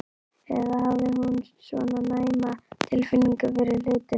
Eða hafði hún svona næma tilfinningu fyrir hlutunum?